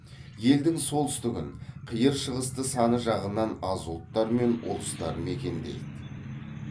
елдің солтүстігін қиыр шығысты саны жағынан аз ұлттар мен ұлыстар мекендейді